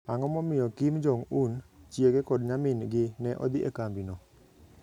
Ang'o momiyo Kim Jong Un, chiege, kod nyamin-gi ne odhi e kambino?